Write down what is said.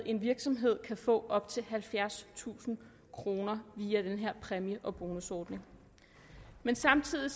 en virksomhed få op til halvfjerdstusind kroner via den her præmie og bonusordning samtidig